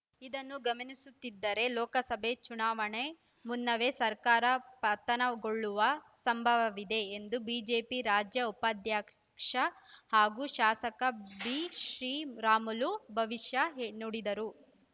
ಇದನ್ನು ಗಮನಿಸುತ್ತಿದ್ದರೆ ಲೋಕಸಭೆ ಚುನಾವಣೆ ಮುನ್ನವೇ ಸರ್ಕಾರ ಪತನಗೊಳ್ಳುವ ಸಂಭವವಿದೆ ಎಂದು ಬಿಜೆಪಿ ರಾಜ್ಯ ಉಪಾಧ್ಯಕ್ಷ ಹಾಗೂ ಶಾಸಕ ಬಿಶ್ರೀರಾಮುಲು ಭವಿಷ್ಯ ಹೇ ನುಡಿದರು